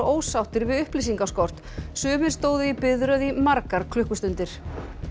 ósáttir við upplýsingaskort sumir stóðu í biðröð í margar klukkustundir